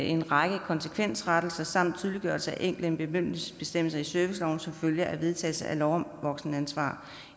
en række konsekvensrettelser samt tydeliggørelse af enkelte bemyndigelsesbestemmelser i serviceloven som følge af vedtagelse af lov om voksenansvar